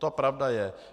To pravda je.